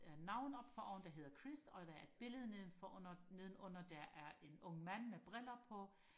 øh navn oppe foroven der hedder Chris og der er et billede nedenfor nedenunder der er en ung mand med briller på